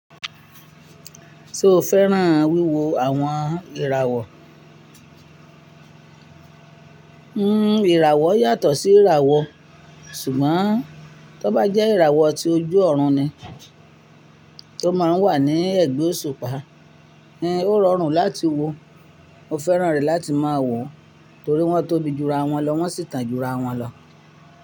Ṣoo fẹ́ran wíwo àwọn ìràwọ̀? Hmm ìràwọ̀ yàtọ̀ sí ìràwọ̀ ṣùgbọ́n tó bá jẹ́ ìràwọ̀ tí ojú ọ̀run ni tó máa ń wà ní ẹ̀gbẹ́ òṣùpá, ẹn, ó rọrùn láti wo. Mo fẹ́ran rẹ̀ láti máa wò torí wọ́n tóbi jura wọn lọ wọ́n sì tàn jura wọn lọ.